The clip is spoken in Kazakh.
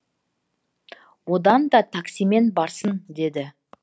одан да таксимен барсын деді